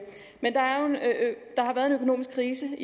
økonomisk krise